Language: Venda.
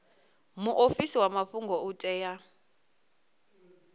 muofisi wa mafhungo u tea